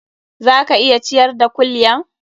Za ka iya ciyar da kulyan?